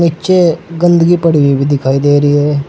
नीचे गंदगी पड़ी हुई भी दिखाई दे रही है।